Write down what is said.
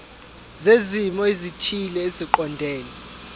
zezimo ezithile eziqondene